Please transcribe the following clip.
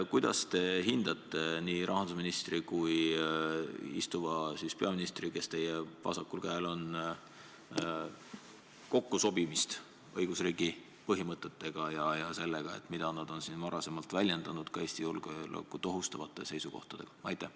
Kuidas te hindate nii rahandusministri kui ka istuva peaministri, kes teie vasakul käel on, kokkusobimist õigusriigi põhimõtetega ja nende põhimõtete sobimist sellega, mida nad on siin varem väljendanud, ka nende Eesti julgeolekut ohustavate seisukohtadega?